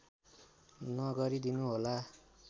नगरिदिनु होला